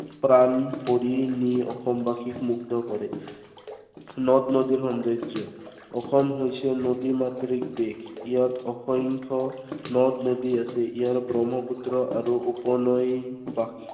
প্ৰাণ হৰি নি অসমবাসীক মুগ্ধ কৰে। নদ-নদীৰ সৌন্দৰ্য। অসম হৈছে নদী মাতৃক দেশ। ইয়াত অসংখ্য় নদ দনদী আছে। ইয়াৰ ব্ৰহ্মপুত্ৰ আৰু উপনৈ বা